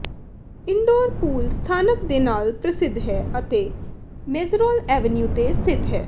indoor pool ਸਥਾਨਕ ਦੇ ਨਾਲ ਪ੍ਰਸਿੱਧ ਹੈ ਅਤੇ ਮੇਸਰੌਲ ਐਵਨਿਊ ਤੇ ਸਥਿਤ ਹੈ